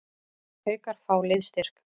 Haukar fá liðsstyrk